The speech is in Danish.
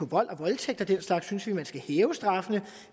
vold og voldtægt og den slags synes vi at man skal hæve straffene